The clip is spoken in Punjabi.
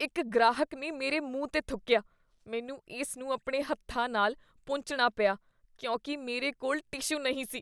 ਇੱਕ ਗ੍ਰਾਹਕ ਨੇ ਮੇਰੇ ਮੂੰਹ 'ਤੇ ਥੁੱਕੀਆ। ਮੈਨੂੰ ਇਸ ਨੂੰ ਆਪਣੇ ਹੱਥਾਂ ਨਾਲ ਪੂੰਝਣਾ ਪਿਆ ਕਿਉਂਕਿ ਮੇਰੇ ਕੋਲ ਟਿਸ਼ੂ ਨਹੀਂ ਸੀ।